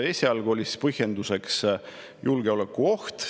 Esialgu oli põhjenduseks julgeolekuoht.